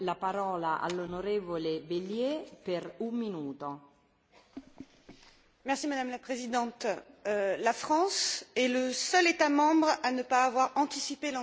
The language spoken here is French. Madame la Présidente, la France est le seul État membre à ne pas avoir anticipé l'entrée en vigueur du traité de Lisbonne et refuse de s'appuyer sur le résultat des élections européennes de juin